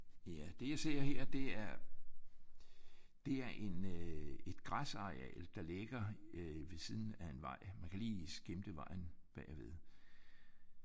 Ja det jeg ser her det er det er en øh et græsareal der ligger ved siden af en vej. Man kan lige skimte vejen ved siden af